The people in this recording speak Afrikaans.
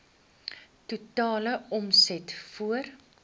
totale omset voor